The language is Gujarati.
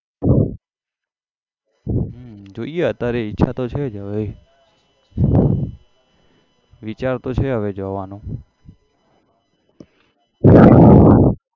હમ જોઈએ અત્યારે ઈચ્છા તો છે જ હવે વિચાર તો છે હવે જવાનો